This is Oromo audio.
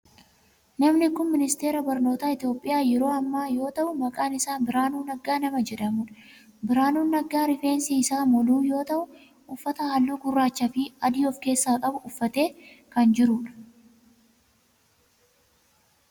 Namni kun ministeera barnootaa Itiyoophiyaa yeroo ammaa yoo ta'u maqaan isaa Birahaanuu Naggaa nama jedhamudha. Birahaanuu Naggaa rifeensi isaa moluu yoo ta'u uffata halluu gurraachaa fi adii of keessaa qabu uffatee kan jirudha.